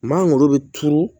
Maa ngolo be turu